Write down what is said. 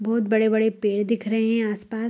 बहुत बड़े-बड़े पेड़ दिख रहे है आस-पास।